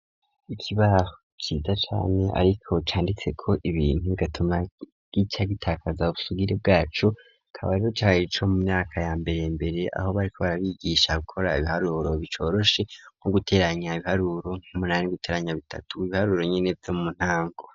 Ikibaho ciza cane ariko canditse ko ibintu bigatuma y'icyagitakaza busugire bwacu kabariro carico mu myaka ya mbere mbere aho bari ko barabigisha gukora ibiharuro bicoroshe nko guteranya ibiharuro n'umunani guteranya bitatu ibiharuro nyeneza muntango.